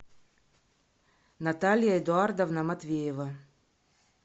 наталья эдуардовна матвеева